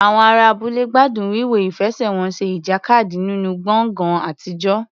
Àwọn ará abúlé gbádùn wíwo ìfẹsẹ̀wọnsẹ̀ ìjàkadì nínú gbọ̀ngàn àtijọ́.